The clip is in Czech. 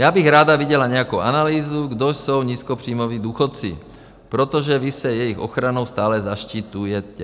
Já bych ráda viděla nějakou analýzu, kdo jsou nízkopříjmoví důchodci, protože vy se jejich ochranou stále zaštiťujete.